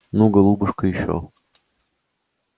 ну голубушка ещё